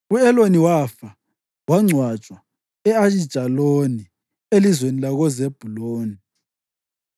U-Eloni wafa, wangcwatshwa e-Ayijaloni elizweni lakoZebhuluni.